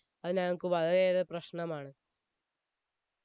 അത് ഞങ്ങൾക്ക് വളരെ ഏറെ പ്രശ്നമാണ്